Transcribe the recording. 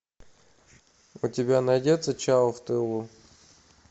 у тебя найдется чау в тылу